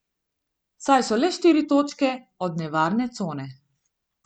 Saj so le štiri točke od nevarne cone.